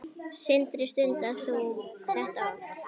Sindri: Stundar þú þetta oft?